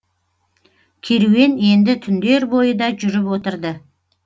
керуен енді түндер бойы да жүріп отырды